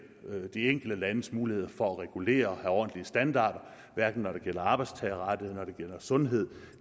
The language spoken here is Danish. de enkelte landes muligheder for at regulere have ordentlige standarder hverken når det gælder arbejdstagerrettigheder når det gælder sundhed